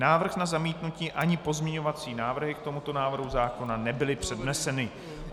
Návrh na zamítnutí, ani pozměňovací návrhy k tomuto návrhu zákona nebyly předneseny.